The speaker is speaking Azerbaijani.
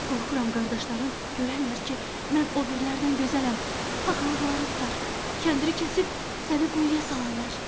Qorxuram qardaşların görərlər ki, mən o birilərdən gözələm, paxıllıqları tutar, kəndiri kəsib səni quyuya salarlar.